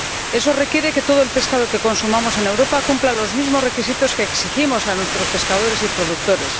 Eso requiere que todo el pescado que consumimos en Europa cumpla los mismos requisitos que exigimos a nuestros pescadores y productores.